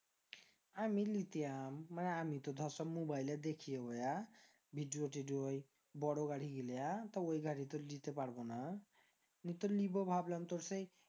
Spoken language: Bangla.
আমি লিতিয়াম মানে আমি তো ধর সব mobile এ দেখি video ওই বোরো গাড়ি গিলা তো ওই গাড়ি তো আর লিতে পারবোনা লিবো ভাবলাম তোর সেই